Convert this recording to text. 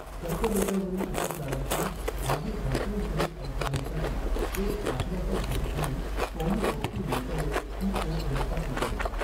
कर्करोगावरील उपचारांच्या भावी धातुंसहितऔषधांसाठी एक आश्वासक घटक म्हणून पॉलिऑक्सिमेटॅलेट्स पीओएम चा उदय